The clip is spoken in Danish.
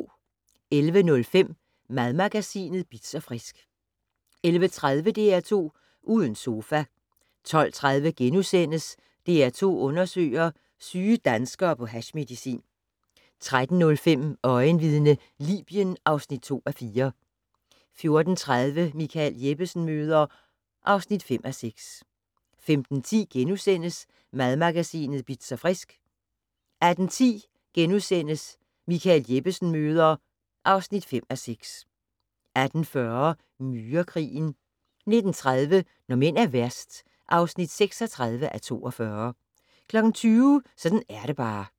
11:05: Madmagasinet Bitz & Frisk 11:30: DR2 Uden sofa 12:30: DR2 Undersøger: Syge danskere på hashmedicin * 13:05: Øjenvidne - Libyen (2:4) 14:30: Michael Jeppesen møder ... (5:6) 15:10: Madmagasinet Bitz & Frisk * 18:10: Michael Jeppesen møder ... (5:6)* 18:40: Myrekrigen 19:30: Når mænd er værst (36:42) 20:00: Sådan er det bare (8:9)